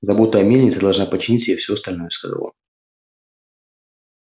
забота о мельнице должна подчинить себе всё остальное сказал он